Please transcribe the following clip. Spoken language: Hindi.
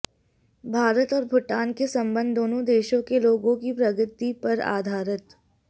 भारत और भूटान के संबंध दोनों देशों के लोगों की प्रगति पर आधारित